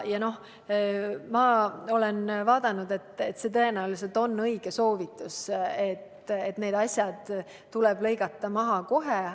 Ja ma olen vaadanud, et see on tõenäoliselt õige soovitus, need asjad tuleb lõigata läbi kohe.